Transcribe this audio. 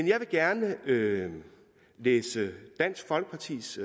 jeg vil gerne læse dansk folkepartis